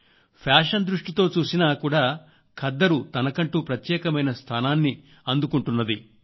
fashion దృష్టితో చూసినా కూడా ఖద్దరు తనకంటూ ప్రత్యేకమైన స్థానాన్ని అందుకుంటోంది